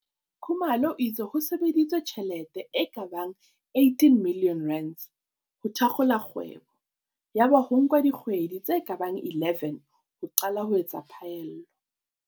Khumalo o itse ho sebedisitswe tjhelete e ka bang R18 milione ho thakgola kgwebo yaba ho nka dikgwe di tse ka bang 11 ho qala ho etsa phaello.